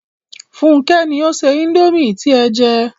Fúnkẹ́ ni ó se indomie tí ẹ jẹ